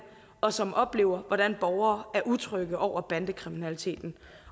og som oplever hvordan borgere er utrygge over bandekriminaliteten